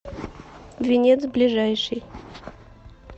венец ближайший